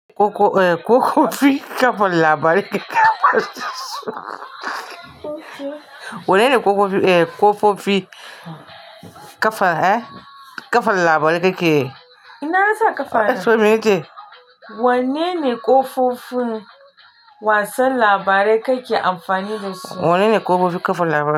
Kofofi ƙafar labarai Wane ne ƙofofi ƙafar labarai kake? Ina yasa ƙafa? Wanene ƙofofin wasan labarai kake amfani dasu? Wanene ƙofofi ƙafar labarai.